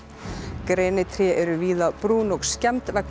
grenitré eru víða brún og skemmd vegna